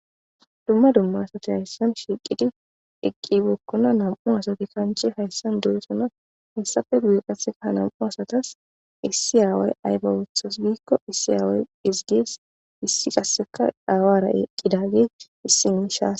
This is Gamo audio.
Dumma dumma asati haysan sbiiqidi eqqi bekona. Nam'u asati kanche haysan doosona. Issi aaway ayba oothi giiko issi aaway esgees. Issi qasseka aawara eqqidagey issi oychas